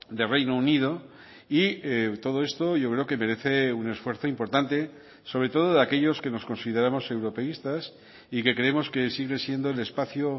de reino unido y todo esto yo creo que merece un esfuerzo importante sobre todo de aquellos que nos consideramos europeístas y que creemos que sigue siendo el espacio